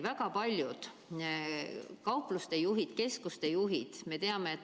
Väga paljud kaupluste juhid ja kaubanduskeskuste juhid on mures.